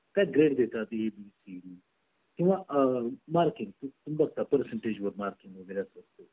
काय grade देतात ती किंवा अ marking percentage वर marking वगैरे असतील तर